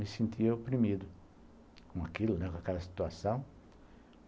Me sentia oprimido com aquilo, com aquela situação.